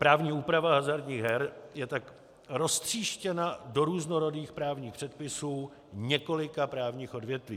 Právní úprava hazardních her je tak roztříštěna do různorodých právních předpisů několika právních odvětví.